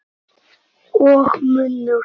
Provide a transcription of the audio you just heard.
Og munnur